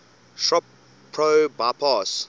shop pro bypass